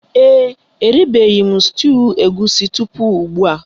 Ee e, eribeghi m stuuyu egusi tupu ugbua